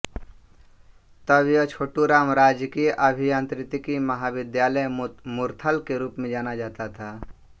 तब यह छोटू राम राजकीय अभियांत्रिकी महाविद्यालय मुरथल के रूप में जाना जाता था